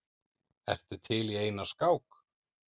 Ertu til í eina skák?